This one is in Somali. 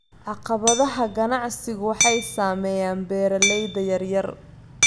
Caqabadaha ganacsigu waxay saameeyaan beeralayda yaryar.